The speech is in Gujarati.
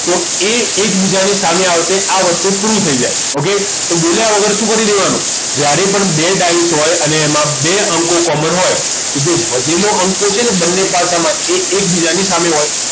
તો એ એકબીજાની સામે આવશે આ વસ્તુ proof થઈ જાય okay તો બોલ્યા વગર શું કરી દેવાનું જ્યારે પણ બે ડાયસ હોય અને એમાં બે અંકો common હોય તો જે વધેલો અંકો છે બંને પાસા માં એ એકબીજાની સામે હોય